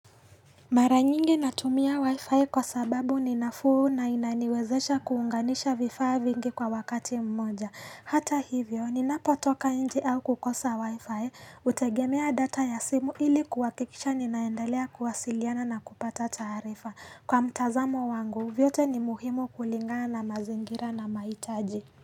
Mara nyingi natumia wifi kwa sababu ni nafuu na inaniwezesha kuunganisha vifaa vingi kwa wakati mmoja. Hata hivyo, ninapotoka nje au kukosa wifi, hutegemea data ya simu ili kuwakikisha ninaendelea kuwasiliana na kupata tarifa. Kwa mtazamo wangu, vyote ni muhimu kulingaa na mazingira na mahitaji.